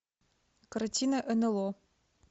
картина нло